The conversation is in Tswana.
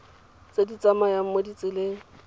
tse di tsamayang mo ditseleng